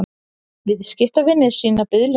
Viðskiptavinir sýni biðlund